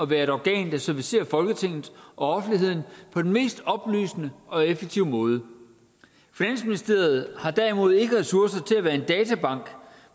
være et organ der servicerer folketinget og offentligheden på den mest oplysende og effektive måde finansministeriet har derimod ikke ressourcer til at være en databank